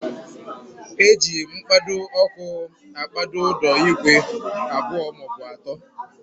Eji mkpado ọkụ akpado ụdọ igwe abụọ maọbụ atọ.